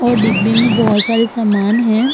और डिब्बे में बहुत सारे सामान हैं।